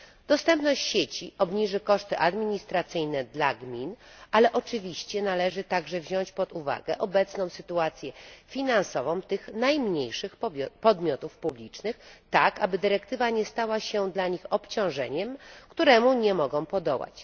Dostępność sieci obniży koszty administracyjne dla gmin, ale oczywiście należy także wziąć pod uwagę obecną sytuację finansową tych najmniejszych podmiotów publicznych tak, aby dyrektywa nie stała się dla nich obciążeniem, któremu nie mogą podołać.